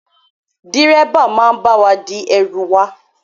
Dírẹ́bà máa bá wa di ẹrù wà.